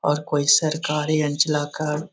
और कोई सरकारी अंजलाकार --